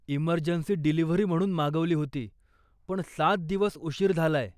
Emergency delivery म्हणून मागवली होती, पण सात दिवस उशीर झालाय.